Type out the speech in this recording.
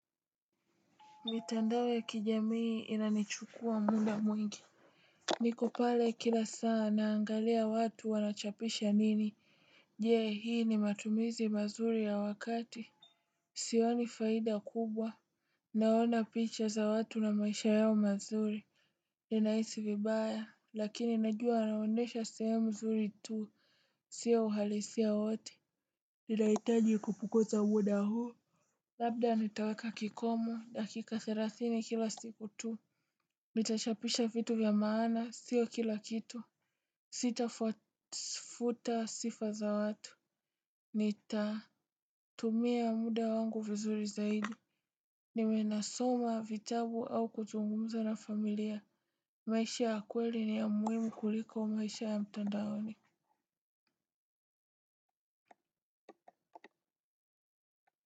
Mitandao ya kijamii inanichukuwa muda mwingi. Nikopale kila saa naangalia watu wanachapisha nini. Jee hii ni matumizi mazuri ya wakati. Sioni faida kubwa. Naona picha za watu na maisha yao mazuri minaisi vibaya lakini najua anaonesha sehemu mzuri tu. Sia uhalisia wote. Nilaitaji kupunguza muda huu labda nitaweka kikomo dakika thelathini kila siku tu nitashapisha vitu vya maana sio kila kitu. Sitafuta sifa za watu. Nita tumia muda wangu vizuri zaidi. Niwenasoma vitabu au kuzungumza na familia maisha ya kweli ni ya muhimu kuliko ya mtandaoni.